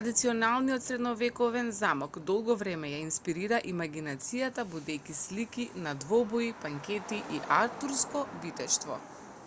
традиционалниот средновековен замок долго време ја инспирира имагинацијата будејќи слики на двобои банкети и артурско витештво